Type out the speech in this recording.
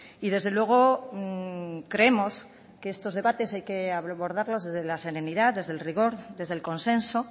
y desde luego creemos que estos debates hay que abordarlos desde la serenidad desde el rigor desde el consenso